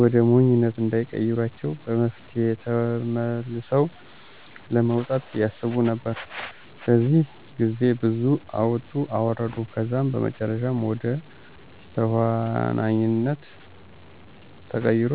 ወደ ሞኝነት እንዳይቀሯቸው በመፍራት ተመልሰው ለመውጣት ያስቡ ነበር። በዚህ ግዜ ብዙ አወጡ አወረዱ ከዛም በመጨረሻም ወደ ተኋንነት ተቀይሮ